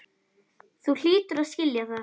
Þú hlýtur að skilja það.